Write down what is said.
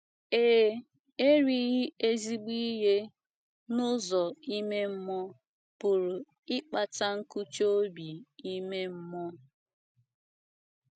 Ee, erighị ezIgbo ihe n’ụzọ ime mmụọ pụrụ ịkpata nkụchi obi ime mmụọ.